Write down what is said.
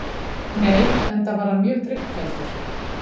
Nei, enda var hann mjög drykkfelldur